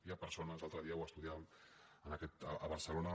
hi ha persones l’al·tre dia ho estudiàvem a barcelona